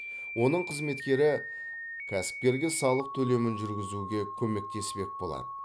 оның қызметкері кәсіпкерге салық төлемін жүргізуге көмектеспек болады